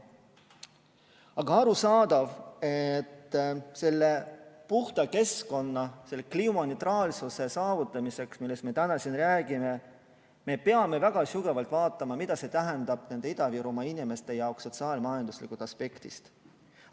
Aga arusaadav, et selle puhta keskkonna, selle kliimaneutraalsuse saavutamiseks, millest me täna siin räägime, me peame väga sügavalt mõtlema, mida see tähendab Ida-Virumaa inimeste jaoks sotsiaal-majanduslikust aspektist.